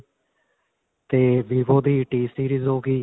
ਤੇ vivo ਦੀ T series ਹੋ ਗਈ.